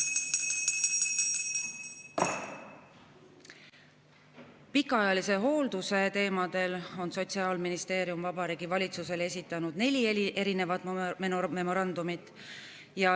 Pikaajalise hoolduse teemadel on Sotsiaalministeerium Vabariigi Valitsusele esitanud neli memorandumit.